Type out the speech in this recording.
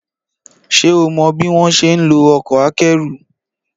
Ṣé o mọ bí wọ́n ṣe ń lo ọkọ̀ akẹ́rù?